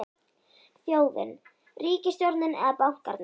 Þjóðin, ríkisstjórnin eða bankarnir?